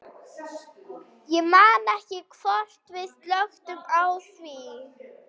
Ég man ekki hvort við slökktum á því.